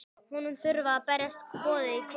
Honum þurfa að berast boðin í kvöld.